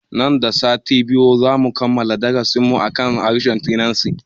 Nan da sati biyu zamu kammala darasin mu akan harshen sinanci